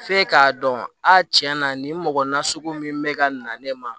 F'e k'a dɔn a tiɲɛ na nin mɔgɔ nasugu min bɛ ka na ne ma